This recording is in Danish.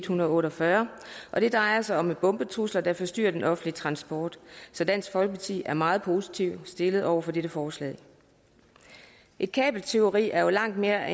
hundrede og otte og fyrre og det drejer sig om bombetrusler der forstyrrer den offentlige transport så dansk folkeparti er meget positivt indstillet over for dette forslag et kabeltyveri er jo langt mere